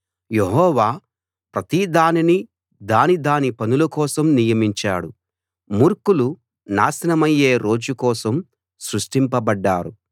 యెహోవా ప్రతి దానినీ దాని దాని పనుల కోసం నియమించాడు మూర్ఖులు నాశనమయ్యే రోజు కోసం సృష్టింపబడ్డారు